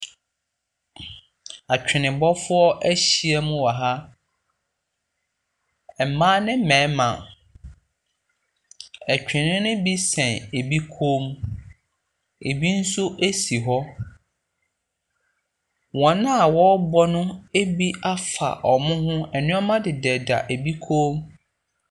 Atwenebɔfoɔ ahyia mu wɔ ha, mmaa ne mmarima, twene ne bi sɛn bi kɔn mu, bi nso si hɔ. Wɔn wɔrebɔ no bi afa wɔn ho, nneɛma deda bi kɔn mu.